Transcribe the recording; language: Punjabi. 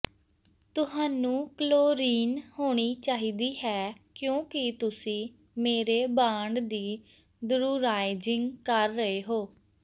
ਤੁਹਾਨੂੰ ਕਲੋਰੀਨ ਹੋਣੀ ਚਾਹੀਦੀ ਹੈ ਕਿਉਂਕਿ ਤੁਸੀਂ ਮੇਰੇ ਬਾਂਡ ਦੀ ਧਰੁਰਾਇਜ਼ਿੰਗ ਕਰ ਰਹੇ ਹੋ